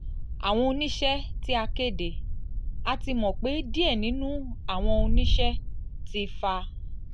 awọn oniṣẹ ti a ti kede: a ti mọ pe diẹ ninu awọn oniṣẹ ti fa